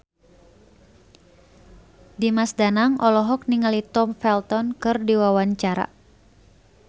Dimas Danang olohok ningali Tom Felton keur diwawancara